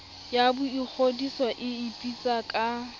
ya boingodiso e ipitsang ka